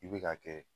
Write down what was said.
I bɛ ka kɛ